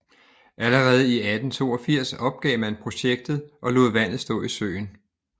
Allerede i 1882 opgav man projektet og lod vandet stå i søen